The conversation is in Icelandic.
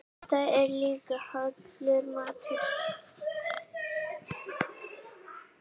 Þetta er líka hollur matur.